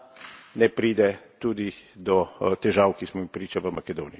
ne pride tudi do težav, ki smo jim priča v Makedoniji.